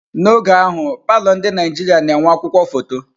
N'oge ahụ, palọ ndi Naijiria na enwe akwukwuo foto.